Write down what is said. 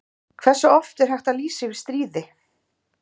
Hversu oft er hægt að lýsa yfir stríði?